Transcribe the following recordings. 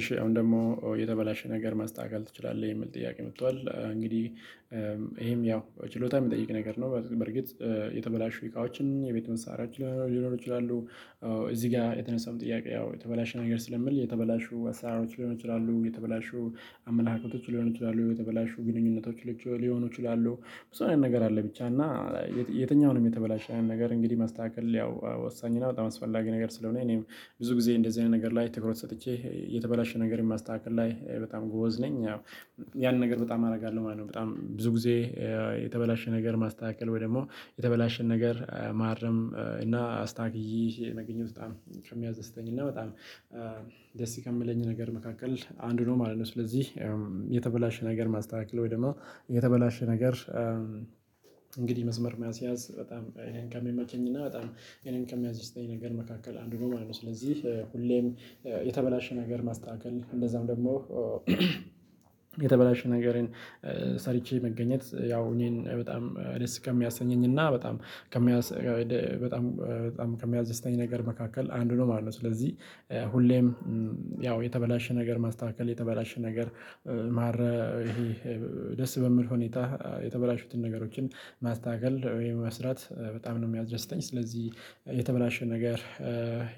እሺ አሁን ደግሞ የተበላሸ ነገር ማስተካከል ትችላለህ የሚል ጥያቄ መጥቷል እንግዲህ ይሄም ያው ችሎታ የሚጠይቅ ነገር ነው። በርግጥ የተበላሹ ኢቃዎችን የቤት መሳሪያ ሊኖሩ ይችላሉ። እዚህ ጋር የተነሳውን ጥያቄ ያው የተበላሸ ነገር ስለምል የተበላሹ አሰራሮች ሊሆኑ ይችላሉ የተበላሹ አመለካከቶች ሊሆኑ ይችላሉ የተበላሹ ግንኙነቶች ሉቹ ሊሆኑ ይችላሉ ብዙ አይነት ነገር አለ። ብቻ እና የትኛውንም የተበላሸ ነገር እንግዲህ ማስተካከል ያው ወሳኝ እና በጣም አስፈላጊ ነገር ስለሆነ እኔም ብዙ ጊዜ እንደዚህ አይነት ነገር ላይ ትኩረት ሰጥቼ የተበላሸ ነገር ማስተካከል ላይ በጣም ጎበዝ ነኝ። ያው ያን ነገር በጣም አደርጋለሁ ማለት ነው በጣም ብዙ ጊዜ። የተበላሸ ነገር ማስተካከል ወይ ደግሞ የተበላሸን ነገር ማረም እና አስታክዬ የመገኘት በጣም ከሚያስደስተኝ እና በጣም ደስ ከምለኝ ነገር መካከል አንዱ ነው ማለት ነው። ስለዚህ የተበላሸ ነገር ማስተካከል ወይ ደግሞ የተበላሸ ነገር እንግዲህ መስመር ማስያዝ በጣም እኔን ከሚመቸኝ እና በጣም እኔን ከሚያስደስተኝ ነገር መካከል አንዱ ነው ማለት ነው። ስለዚህ ሁሌም የተበላሸ ነገር ማስተካከል እንደዛም ደግሞ የተበላሸ ነገርን ሰርቼ መገኘት ያው እኔን በጣም ደስ ከሚያሰኘኝ እና በጣም ከሚያስደ በጣም በጣም ከሚያስደስተኝ ነገር መካከል አንዱ ነው ማለት ነው። ስለዚህ ሁሌም ያው የተበላሸ ነገር ማስተካከል የተበላሸ ነገር ማረ እሄ ደስ በሚል ሁኔታ የተበላሹትን ነገሮችን ማስተካከል ወይም መስራት በጣም ነው ሚያስደስተኝ። ስለዚህ የተበላሸ ነገር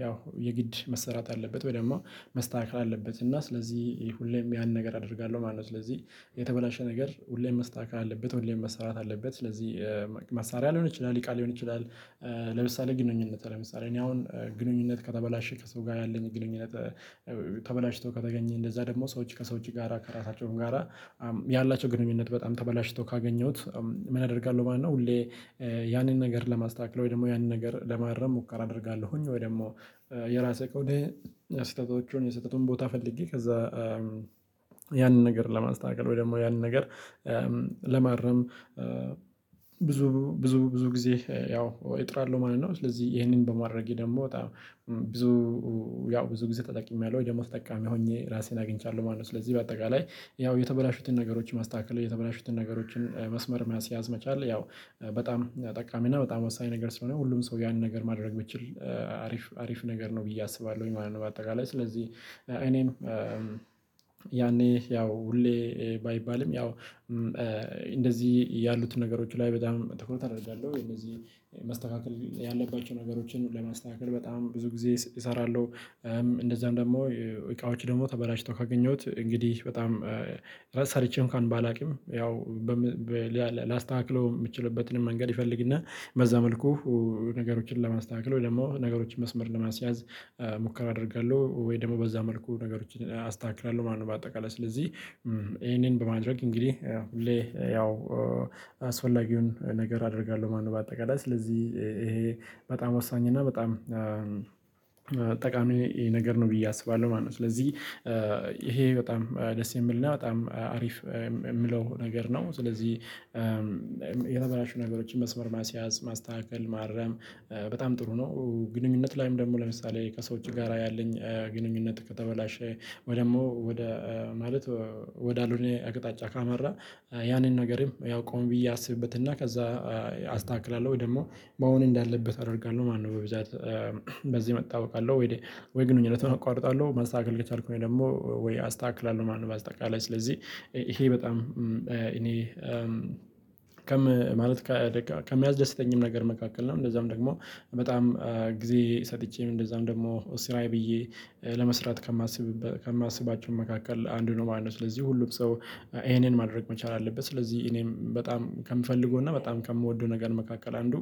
ያው የግድ መሰራት አለበት ወይ ደግሞ መስተካከል አለበት እና ስለዚህ ሁሌም ያን ነገር አደርጋለሁ ማለት ነው። ስለዚህ የተበላሸ ነገር ሁሌም መስተካከል አለበት ሁሌም መሰራት አለበት ስለዚህ መሳሪያ ሊሆን ይችላል እቃ ሊሆን ይችላል። ለምሳሌ ግንኙነት ለምሳሌ እኔ አሁን ግንኙነት ከተበላሸ ከሰው ጋር ያለኝ ግንኙነት ተበላሽቶ ከተገኘ እንደዛ ደግሞ ሰዎች ከሰዎች ጋራ ከራሳቸውም ጋራ ያላቸው ግንኙነት በጣም ተበላሽቶ ካገኘሁት። ምን አደርጋለሁ ማለት ነው ሁሌ ያንን ነገር ለማስተካከል ወይ ደግሞ ያንን ነገር ለማረም ሙከራ አደርጋለሁኝ። ወይ ደግሞ የራሴ ከሆነ የስተቶቹን የስህተቱን ቦታ ፈልጌ ከዛ ያንን ነገር ለማስተካከል ወይ ደግሞ ያንን ነገር ለማረም ብዙ ብዙ ብዙ ጊዜ ያው እጥራለው ማለት ነው። ስለዚህ ይሄንን በማድረጌ ደግሞ በጣም ብዙ ያው ብዙ ጊዜ ተጠቅሜያለሁ ደግሞ ተጠቃሚ ሆኜ ራሴን አግኝቻለሁ ማለት ነው። ስለዚህ በአጠቃላይ ያው የተበላሹትን ነገሮች ማስተካከል የተበላሹትን ነገሮችን መስመር ማስያዝ መቻል ያው በጣም ጠቃሚና በጣም ወሳኝ ነገር ስለሆነ ሁሉም ሰው ያንን ነገር ማድረግ ቢችል አሪፍ አሪፍ ነገር ነው ብዬ አስባለሁኝ ማለት ነው። በአጠቃላይ ስለዚህ እኔም ያኔ ያው ሁሌ ባይባልም ያው እንደዚህ ያሉትን ነገሮች ላይ በጣም ትኩረት አደርጋለሁ እነዚህ መስተካከል ያለባቸው ነገሮችን ለማስተካከል በጣም ብዙ ጊዜ እሰራለሁ። እንደዛም ደግሞ እቃዎች ደግሞ ተበላሽተው ካገኘሁት እንግዲህ በጣም ራስ ሰርቼም አንኳን ባላውቅም ያው ላስተከክለው ምችልበትን መንገድ ይፈልግና በዛ መልኩ ነገሮችን ለማስተካክለው ደግሞ ነገሮችን መስመር ለማስያዝ ሙከራ አደርጋለሁ ወይ ደግሞ በዛ መልኩ ነገሮችን አስተካክላለሁ ማለት ነው። በአጠቃላይ ስለዚህ ይሄንን በማድረግ እንግዲህ ያው ሁሌ ያው አስፈላጊውን ነገር አደርጋለሁ ማነው በአጠቃላይ ስለዚህ ይሄ በጣም ወሳኝ እና በጣም ጠቃሚ ነገር ነው ብዬ አስባለሁ ማለት ነው። ስለዚህ ይሄ በጣም ደስ የምልና በጣም አሪፍ ምለው ነገር ነው። ስለዚህ የተበላሹ ነገሮችን መስመር ማስያዝ ማስተካከል ማረም በጣም ጥሩ ነው። ግንኙነቱ ላይም ደግሞ ለምሳሌ ከሰው እጅ ጋር ያለኝ ግንኙነት ከተበላሸ ወይ ደግሞ ወደ ማለት ወደ አሎነ አቅጣጫ ካመራ ያንን ነገርም ያው ቆም ብዬ አስብበት እና ከዛ አስተካክላለሁ። ወይ ደግሞ መሆን እንዳለበት አደርጋለሁ ማነው በብዛት በዚህ መጣ አውቃለሁ ወይ ወይ ግንኙነት አቋርጣለሁ መስተካከል ከቻልኩ ወይ ደግሞ ወይ አስተካክላለሁ ማለት በአጠቃላይ ስለዚህ ይሄ በጣም እኔ ከም ማለት ከሚያስደስተኛም ነገር መካከል ነው። እንደዛም ደግሞ በጣም ጊዜ ሰጥቼም እንደዛም ደግሞ ስራዬ ብዬ ለመስራት ከማስብ ከማስባቸው መካከል አንዱ ነው ማለት ነው። ስለዚህ ሁሉም ሰው ይሄንን ማድረግ መቻል አለበት ስለዚህ እኔም በጣም ከምፈልገው እና በጣም ከምወደው ነገር መካከል አንዱ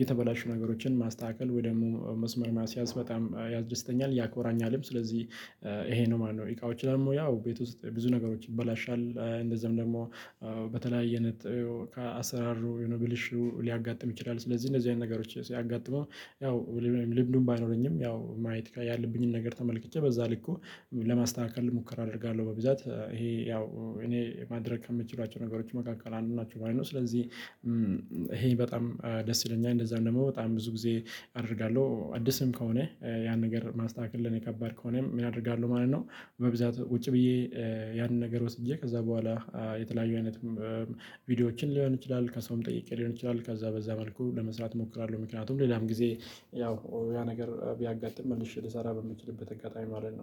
የተበላሹ ነገሮችን ማስተካከል ወይ ደግሞ መስመር ማስያዝ በጣም ያድስተኛል ያኮራኛልም። ስለዚህ ይሄ ነው ማነው ኢቃዎች ላይም ያው ቤት ውስጥ ብዙ ነገሮች ይበላሻል። እንደዚህም ደግሞ በተለያየ አሰራሩ ብልሹ ሊያጋጥም ይችላል ስለዚህ እንደዚህ አይነት ነገሮች ሲያጋጥሙ ያው ልምዱ ባይኖረኝም ያው ማየት ያለብኝን ነገር ተመልክቼ በዛ ልክ እ ለማስተካከል ሙከራ አደርጋለሁ። በብዛት ይሄ ያው እኔ ማድረግ ከምችላቸው ነገሮች መካከል አንዱ ናቸው ማለት ነው። ስለዚህ ይሄን በጣም ደስ ይለኛል። እንደዛ ደግሞ በጣም ብዙ ጊዜ አደርጋለሁ አዲስም ከሆነ ያን ነገር ማስተካከል ለኔ ከባድ ከሆነ ምን አደርጋለሁ ማለት ነው። በብዛት ቁጭ ብዬ ያንን ነገር ወስጄ ከዛ በኋላ የተለያዩ አይነት ቪዲዮዎችን ሊሆን ይችላል ከሰውም ጠይቄ ሊሆን ይችላል ከዛ በዛ መልኩ ለመስራት እሞክራለሁ ምክንያቱም ሌላም ጊዜ ያው ያ ነገር ቢያጋጥም መልሼ ልሰራ በምችልበት አጋጣሚ ማለት ነው